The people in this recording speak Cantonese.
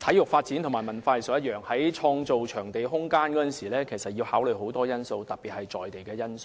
體育發展與文化藝術無異，在創造場地空間時要考慮很多因素，特別是在地因素。